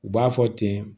U b'a fɔ ten